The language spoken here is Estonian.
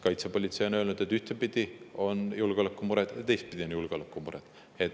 Kaitsepolitsei on öelnud, et ühtepidi on julgeolekumured ja ka teistpidi on julgeolekumured.